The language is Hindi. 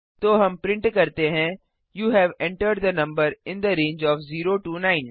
तो हम प्रिंट करते हैं you have entered the number in the range of 0 9